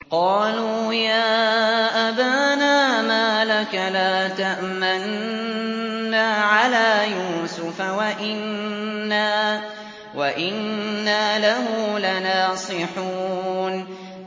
قَالُوا يَا أَبَانَا مَا لَكَ لَا تَأْمَنَّا عَلَىٰ يُوسُفَ وَإِنَّا لَهُ لَنَاصِحُونَ